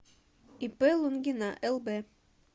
ип лунгина лб